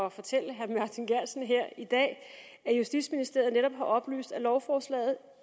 at fortælle herre martin geertsen her i dag at justitsministeriet netop har oplyst at lovforslaget